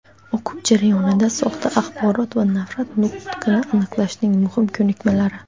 O‘quv jarayonida soxta axborot va nafrat nutqini aniqlashning muhim ko‘nikmalari,.